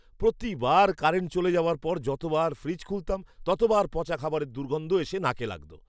প্রতিবার কারেন্ট চলে যাওয়ার পর যতবার ফ্রিজ খুলতাম, ততবার পচা খাবারের দুর্গন্ধ এসে নাকে লাগত।